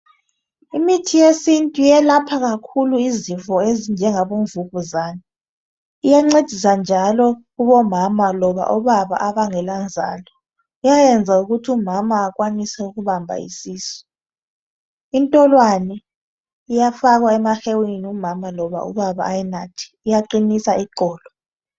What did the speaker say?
Imithi yesintu yelapha kakhulu izifo ezinjengabomvukuzane iyancedisa njalo kubomama loba obaba abangelanzalo. Iyayenza ukuthumama akwanise ukubamba isisu. Intolwane iyafakwa emahewini umama loba ubaba ayinathe, iyaqinisa iqolo.